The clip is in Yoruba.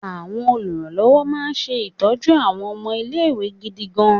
Àwọn oluranlowo máa ń ṣe ìtọ́jú àwọn ọmọ ilé-ìwé gidigan.